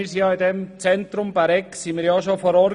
Wir waren bereits im Zentrum Bäregg vor Ort.